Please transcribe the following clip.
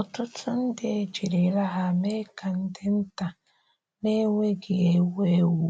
Ọtụtụ ndị ejirila ha mee ka ndị nta na-enweghị ewu ewu